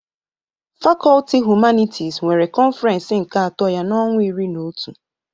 Fakọlti Humanitis nwere kọnfirens nke ato ya n'ọnwa iri na otu.